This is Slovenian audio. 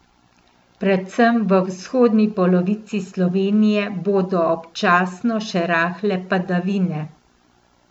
Predvsem v vzhodni polovici Slovenije bodo občasno še rahle padavine.